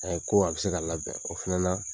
ko a bɛ se ka labɛn o fana la